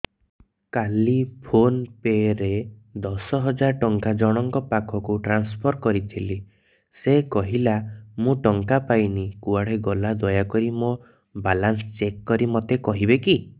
କାଲି PhonePe ରେ ଦଶ ହଜାର ଟଙ୍କା ଜଣକ ପାଖକୁ ଟ୍ରାନ୍ସଫର୍ କରିଥିଲି ସେ କହିଲା ମୁଁ ଟଙ୍କା ପାଇନି କୁଆଡେ ଗଲା ଦୟାକରି ମୋର ବାଲାନ୍ସ ଚେକ୍ କରି ମୋତେ କହିବେ କି